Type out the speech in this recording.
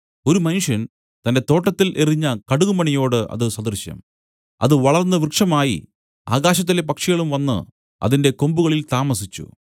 ഒരു മനുഷ്യൻ തന്റെ തോട്ടത്തിൽ എറിഞ്ഞ കടുകുമണിയോട് അത് സദൃശം അത് വളർന്ന് വൃക്ഷമായി ആകാശത്തിലെ പക്ഷികളും വന്നു അതിന്റെ കൊമ്പുകളിൽ താമസിച്ചു